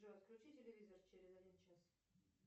джой отключи телевизор через один час